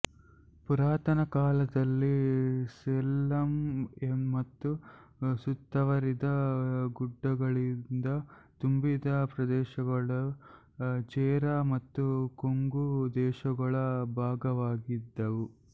ಪುರಾತನ ಕಾಲದಲ್ಲಿ ಸೇಲಂ ಮತ್ತು ಸುತ್ತುವರಿದ ಗುಡ್ಡಗಳಿಂದ ತುಂಬಿದ ಪ್ರದೇಶಗಳು ಚೆರಾ ಮತ್ತು ಕೊಂಗು ದೇಶಗಳ ಭಾಗವಾಗಿದ್ದವು